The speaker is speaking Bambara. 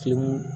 Fin